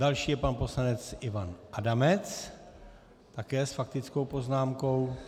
Další je pan poslanec Ivan Adamec, také s faktickou poznámkou.